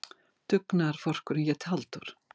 Dugnaðarforkurinn hét Halldór.